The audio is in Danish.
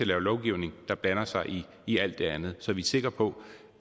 lave lovgivning der blander sig i alt det andet så vi er sikre på